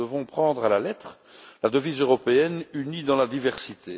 Nous devons prendre à la lettre la devise européenne Unie dans la diversité.